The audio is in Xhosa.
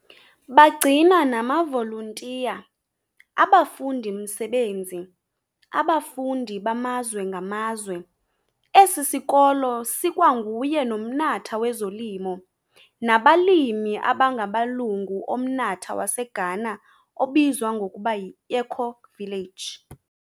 Bagcina namavoluntiya, abafundimsebenzi, abafundi bamazwe ngamazwe, esisikolo sokwanguye nomnatha wezolimo nabalimi ulilungu lamnatha waseGhana obizwa ngokuba yiEcovillage.